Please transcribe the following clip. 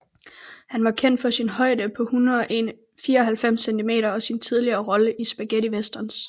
Han var kendt for sin højde på 194 cm og sine tidligere roller i spaghettiwesterns